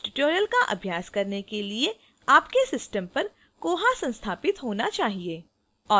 इस tutorial का अभ्यास करने के लिए आपके system पर koha संस्थापित होना चाहिए